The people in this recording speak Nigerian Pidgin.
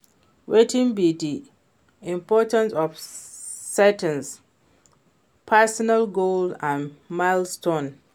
Wetin be di importantce of setting personal goals and milestones?